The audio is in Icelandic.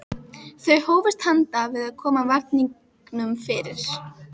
Þau hófust handa við að koma varningnum fyrir.